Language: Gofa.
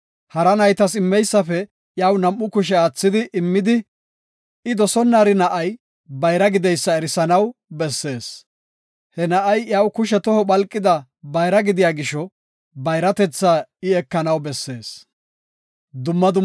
Hara naytas immeysafe iyaw nam7u kushe aathidi immidi I dosonnari na7ay bayra gideysa erisanaw bessees. He na7ay iyaw kushe toho phalqida bayra gidiya gisho, bayratetha I ekanaw bessees.